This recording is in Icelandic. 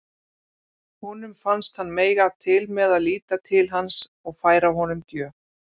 Honum fannst hann mega til með að líta til hans og færa honum gjöf.